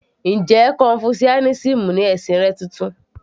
Njẹ́ confucianism ni ẹ̀sìn rẹ titun?